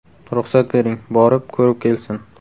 Ruxsat bering, borib, ko‘rib kelsin.